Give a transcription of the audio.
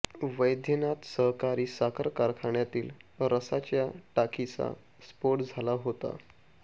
वैद्यनाथ सहकारी साखर कारखान्यातील रसाच्या टाकीचा स्फोट झाला होता